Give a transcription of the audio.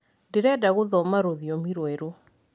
ndirenda guthoma rũthiomi rwerũ